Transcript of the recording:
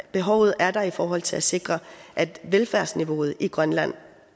behovet er der i forhold til at sikre at velfærdsniveauet i grønland